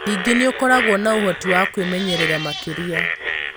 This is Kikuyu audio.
Ningĩ nĩ ũkoragwo na ũhoti wa kwĩmenyerera makĩria.